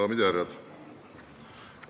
Daamid ja härrad!